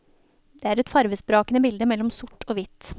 Det er et farvesprakende bilde mellom sort og hvitt.